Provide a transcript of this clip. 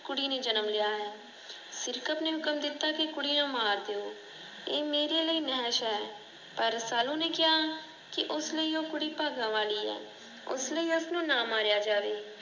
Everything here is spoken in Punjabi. ਕੁੜੀ ਨੇ ਜਨਮ ਲਿਆ ਹੈ। ਸਿਰਕਤ ਨੇ ਹੁਕਮ ਦਿੱਤਾ ਕਿ ਕੁੜੀ ਨੂੰ ਮਾਰ ਦਿਓ, ਇਹ ਮੇਰੇ ਲਈ ਨਹਸ਼ ਹੈ। ਪਰ ਰਸਾਲੂ ਨੂੰ ਕਿਹਾ ਕਿ ਉਸਲਈ ਓਹ ਕੁੜੀ ਭਾਗਾ ਵਾਲੀ ਹੈ। ਉ ਉਸਨੂੰ ਨਾ ਮਾਰਿਆ ਜਾਵੇ।